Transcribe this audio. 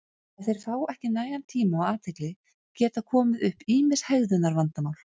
ef þeir fá ekki nægan tíma og athygli geta komið upp ýmis hegðunarvandamál